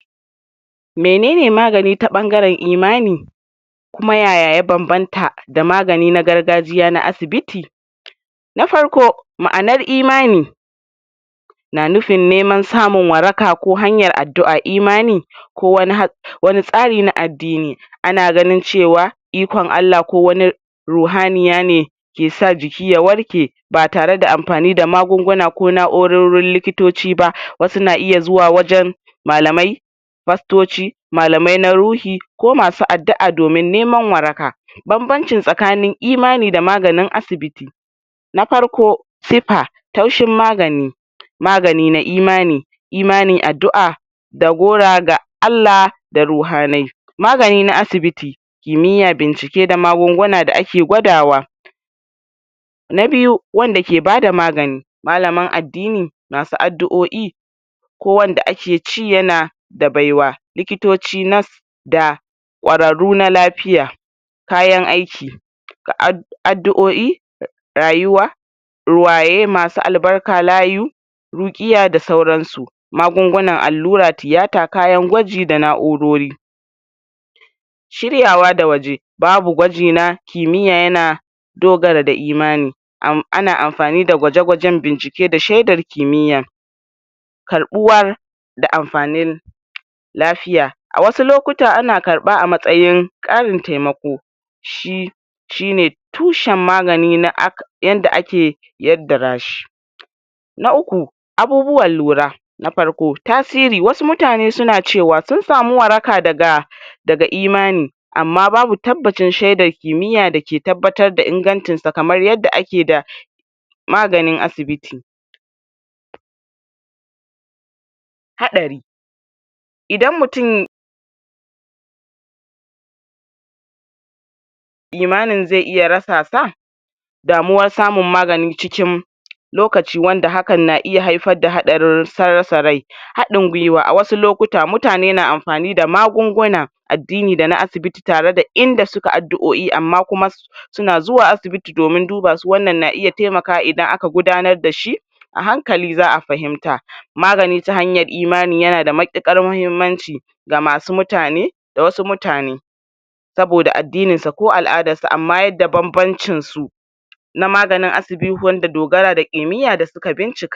Menene magani ta ɓangaren imani kuma yaya ya bambamta da maganin na gargajiya na asibiti na farko ma'anar imani na nufin neman samun waraka ko hanyar addu'a imani ko wani wani tsani na addini ana ganin cewa ikon Allah ko wani ruhaniya ne ke sa jiki ya warka ba tare da amfani da magunguna ko na'urorin likitoci ba wasu na iya zuwa wajan malamai fastoci malamai na ruhi ko masu addu'a domin neman waraka bambanci tsakanin imani da maganin asibiti na farko sepa taushin magani magani na imani imani addu'a dagora Allah da ruhanai magani na asibiti kimiyya bincike da magunguna da ake gwadawa na biyu wanda ke bada magani malamin addini masu addu'oi ko wanda ake ci yana da baywa, likitoci, nas da kwararu na lafiya kayan aiki da addu'oi rayuwa ruwaye masu albarka, layyu rukkiya da sauransu magunguna, allura, tiyata, kayan gwaji da na'urori shiryawa da waje babu gwaji na kimiya yana dogara da imani ana amfani da gwaje-gwaje bincike da sheddar kimiya karɓuwar da amfanin lafiya a wasu lokutan ana karɓa a matsayin karin taimako shi shine tushen magani na yanda ake yaddara shi na uku abubuwan lura na farko tasiri, wasu mutane suna cewa sun samu waraka daga daga imani amma babu tabbacin sheddar kimiya dake tabbatar da ingancinsa kamar yaddda ake da maganin asibiti haɗari idan mutum imanin ze iya rasa sa damuwar samun magani cikin lokaci wanda hakan na iya haifar da hatsarin rasa rai haddin gwiwa a wasu lokutan mutane na amfani da magunguna addini dana asibiti tare da inda suka addu'oi amma kuma suna zuwa asibiti domin duba su wannan na iya taimakawa idan aka gudanar dashi a hankali za'a fahimta, magani ta hanyar imani yana da mutukar muhimmanci ga masu mutane da wasu mutane saboda addininsa ko al'adansa amma yada bambancinsu na maganin asibiti wanda dogara da kimiya suka bincika.